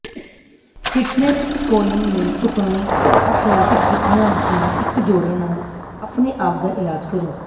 fitness ਸਕੋਲਿੰਗ ਲਈ ਢੁਕਵੇਂ ਐਥਲੈਟਿਕ ਜੁੱਤੀਆਂ ਦੀ ਇੱਕ ਜੋੜਾ ਨਾਲ ਆਪਣੇ ਆਪ ਦਾ ਇਲਾਜ ਕਰੋ